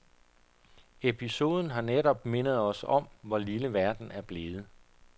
Episoden har netop mindet os om, hvor lille verden er blevet.